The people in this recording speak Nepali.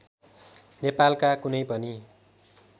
नेपालका कुनै पनि